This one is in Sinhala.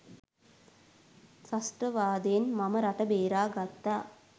ත්‍රස්තවාදයෙන් මම රට බේරාගත්තා